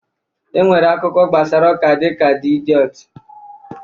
E nwere akụkọ gbasara ụka dịka D Idiọt